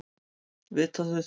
Vita þau það?